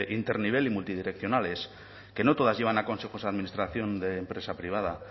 internivel y multidireccionales que no todas llevan a consejos de administración de empresa privada